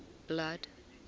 blood